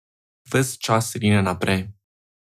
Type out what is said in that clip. Ves čas rine naprej.